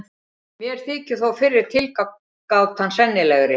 Mér þykir þó fyrri tilgátan sennilegri.